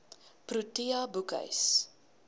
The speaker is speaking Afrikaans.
protea boekhuis